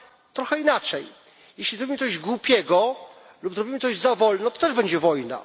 Powiem trochę inaczej jeśli zrobimy coś głupiego lub zrobimy coś za wolno, to też będzie wojna.